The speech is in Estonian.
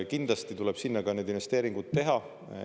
Kindlasti tuleb sinna ka need investeeringud teha.